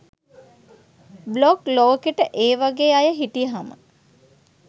blog ලෝකෙට ඒ වගේ අය හිටියහම